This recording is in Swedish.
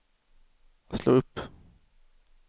slå upp